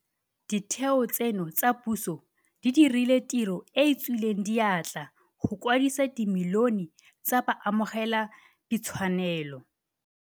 Ditheo tseno tsa puso di dirile tiro e e tswileng diatla go kwadisa dimilione tsa baamogeladithwanelo